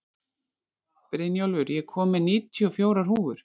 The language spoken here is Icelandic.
Brynjólfur, ég kom með níutíu og fjórar húfur!